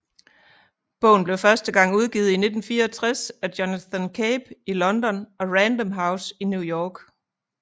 Bogen blev første gang udgivet i 1964 af Jonathan Cape i London og Random House i New York